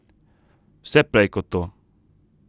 Vse prej kot to.